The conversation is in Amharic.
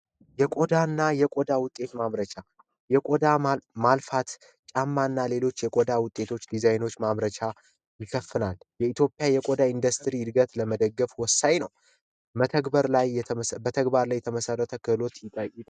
የቆዳና የቆዳ ውጤት ማምረቻ የቆዳት ጫማና ሌሎች የቆዳ ውጤቶች ዲዛይኖች ማምረቻ ይከፈላል። የኢትዮጵያ የቆዳ ኢንዱስትሪ እድገት ለመደገፍ ወሳኝ ነው መተግበር ላይ የተግባር ላይ የተመሰረተ ክህሎት